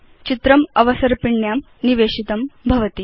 चित्रम् अवसर्पिण्यां निवेशितं भवति